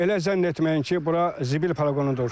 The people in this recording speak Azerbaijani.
Elə zənn etməyin ki, bura zibil poliqonudur.